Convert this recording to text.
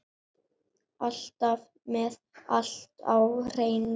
Alltaf með allt á hreinu.